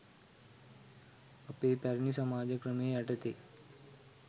අපේ පැරණි සමාජ ක්‍රමය යටතේ